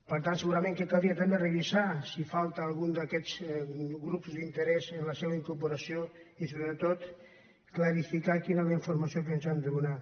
per tant segurament que caldria també revisar si falta algun d’aquests grups d’interès en la seva incorporació i sobretot clarificar quina és la informació que ens han de donar